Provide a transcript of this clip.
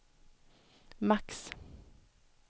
max